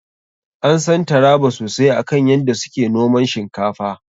An san Taraba sosai akan yadda su ke noman shinkafa.